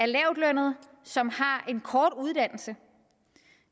lavtlønnede som har en kort uddannelse og